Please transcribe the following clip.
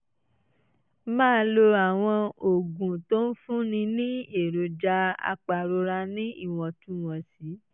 máa lo àwọn oògùn tó ń fúnni ní èròjà apàrora ní ìwọ̀ntúnwọ̀nsì